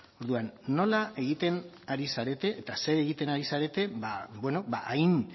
orduan nola egiten ari zarete eta zer egiten ari zarete hain